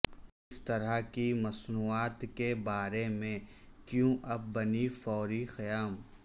اس طرح کی مصنوعات کے بارے میں کیوں اب بن فوری قیام